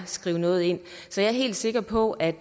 skrive noget ind så jeg er helt sikker på at